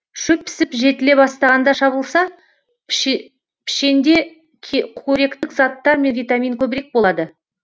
шөп пісіп жетіле бастағанда шабылса пішенде көректік заттар мен витамин көбірек болады